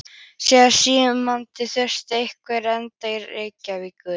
Sá síðarnefndi þurfti einhverra erinda til Reykjavíkur.